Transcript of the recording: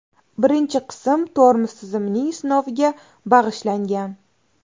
Birinchi qism tormoz tizimining sinoviga bag‘ishlangan .